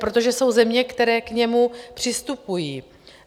Protože jsou země, které k němu přistupují.